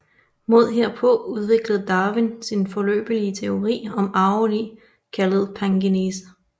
Mod herpå udviklede Darwin sin foreløbige teori om arvelig kaldet pangenese